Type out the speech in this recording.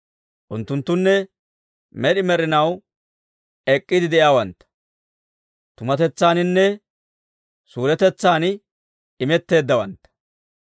Unttunttunne med'i med'inaw ek'k'iide de'iyaawantta; tumatetsaaninne suuretetsan imetteeddawantta.